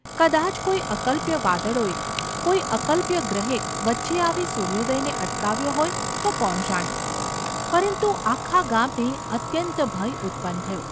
કદાચ કોઈ અકલ્પ્ય વાદળોએ, કોઈ અકલ્પ્ય ગ્રહે વચ્ચે આવી સૂર્યોદયને અટકાવ્યો હોય તો કોણ જાણે ! પરંતુ આખા ગામને અત્યંત ભય ઉત્પન્ન થયો.